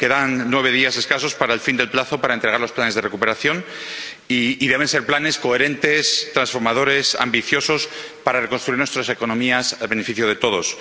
Quedan nueve días escasos para el fin del plazo para entregar los planes de recuperación, y deben ser planes coherentes, transformadores, ambiciosos, para reconstruir nuestras economías en beneficio de todos.